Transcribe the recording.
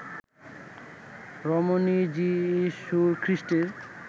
রমণী যীশুখ্রীষ্টের